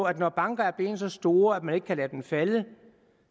at når banker er blevet så store at man ikke kan lade dem falde